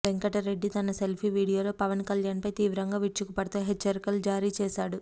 వెంకట రెడ్డి తన సెల్ఫీ వీడియోలో పవన్ కళ్యాణ్పై తీవ్రంగా విరుచుకుపడుతూ హెచ్చరికలు జారీ చేశాడు